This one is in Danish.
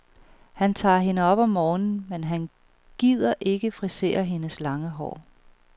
Han tager hende op om morgenen, men han gider ikke frisere hendes lange hår.